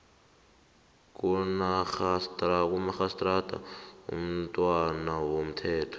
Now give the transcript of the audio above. kamarhistrada imntwana womthetho